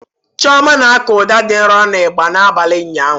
Chioma na-akụ ụda dị nro na ịgbà n'abalị ụnyaahụ.